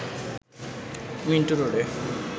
Minto রোডে